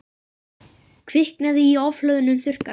Kviknaði í ofhlöðnum þurrkara